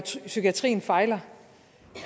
psykiatrien fejler